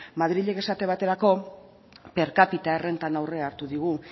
madrilek esate baterako per cápita errentan aurrea hartu digu